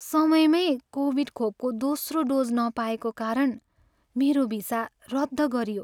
समयमै कोभिड खोपको दोस्रो डोज नपाएको कारण मेरो भिसा रद्द गरियो।